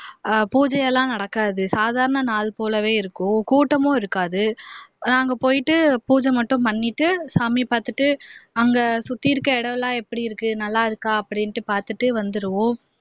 பூஜை எல்லாம் நடக்காது சாதாரண நாள் போலவே இருக்கும் கூட்டமும் இருக்காது நாங்க போயிட்டு பூஜை மட்டும் பண்ணிட்டு சாமி பாத்துட்டு அங்க சுத்தி இருக்கிற இடம் எல்லாம் எப்படி இருக்கு நல்லா இருக்கா அப்படின்னு பாத்துட்டு வந்துருவோம்